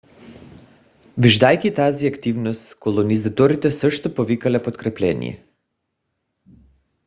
виждайки тази активност колонизаторите също повикали подкрепление